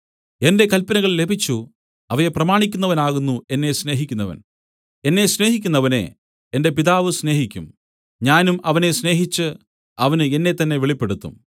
എന്റെ കല്പനകൾ ലഭിച്ചു അവയെ പ്രമാണിക്കുന്നവനാകുന്നു എന്നെ സ്നേഹിക്കുന്നവൻ എന്നെ സ്നേഹിക്കുന്നവനെ എന്റെ പിതാവ് സ്നേഹിക്കും ഞാനും അവനെ സ്നേഹിച്ച് അവന് എന്നെത്തന്നെ വെളിപ്പെടുത്തും